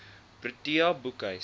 protea boekhuis